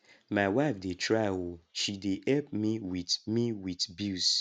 my wife dey try oo she dey help me with me with bills